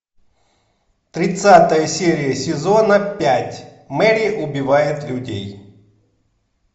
тридцатая серия сезона пять мэри убивает людей